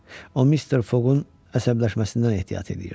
O mister Foqun əsəbləşməsindən ehtiyat eləyirdi.